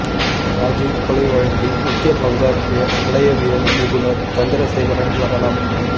ராஜீவ் கொலை வழக்கில் முக்கிய பங்காற்றிய தடயவியல் நிபுணர் சந்திரசேகரன் மரணம்